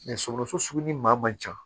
sɔgɔsɔgɔ sugu ni maa man ca